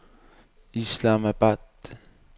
Islamabad